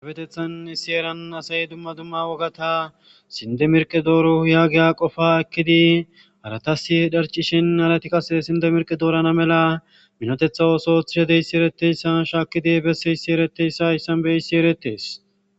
afetethan issi eran asay dumma dumma wogata sindemerqe dooro yaagiya qofa ekkidi haratasi hedharcishin halatikas sinde merqe doorana mela minotetha oosothishedeysi ereteyssa shaakidi besse hissi ereteyssa issan beyissi eretees